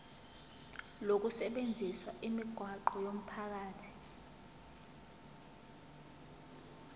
lokusebenzisa imigwaqo yomphakathi